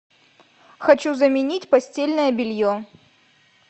хочу заменить постельное белье